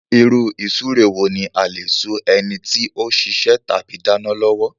Ìrú-ìsúre wo ní a lè sú enití o sisẹ́ tàbí dánán lọ́wọ́